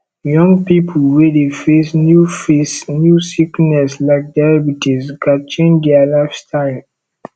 young pipo wey dey face new face new sickness like diabetes gats change dia lifestyle